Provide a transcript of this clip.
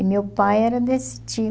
E meu pai era desse